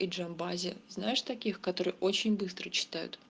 и джамбазе знаешь таких которые очень быстро читают